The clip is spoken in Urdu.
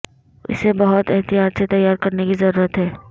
اسے بہت احتیاط سے تیار کرنے کی ضرورت ہے